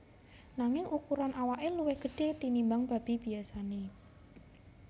Nanging ukuran awake luwih gedhe tinimbang babi biyasane